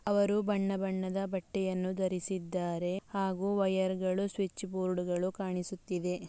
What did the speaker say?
ಅವರು ಬಣ್ಣ ಬಣ್ಣದ ಬಟ್ಟೆಯನ್ನು ಧರಿಸಿದ್ದಾರೆ ಹಾಗು ವಯರ್ಗಳು ಸ್ವಿಚ್ ಬೋರ್ಡ್ಗುಳು ಕಾಣಿಸುತ್ತಿದೆ.